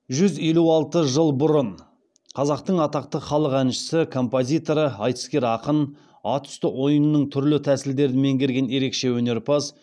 жүз елу алты жыл бұрын қазақтың атақты халық әнші композиторы айтыскер ақын ат үсті ойынының түрлі тәсілдерін меңгерген ерекше өнерпаз